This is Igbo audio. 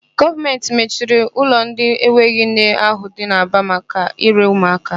Gọọmentị mechiri ụlọ ndị enweghị nne ahụ dị n'Aba maka ire ụmụaka.